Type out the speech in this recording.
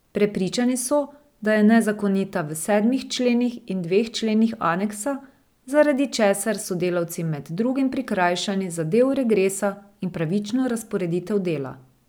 Prepričani so, da je nezakonita v sedmih členih in dveh členih aneksa, zaradi česar so delavci med drugim prikrajšani za del regresa in pravično razporeditev dela.